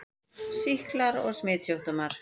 SÝKLAR OG SMITSJÚKDÓMAR